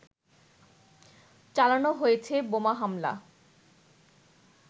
চালানো হয়েছে বোমা হামলা